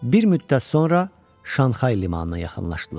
Bir müddət sonra Şanxay limanına yaxınlaşdılar.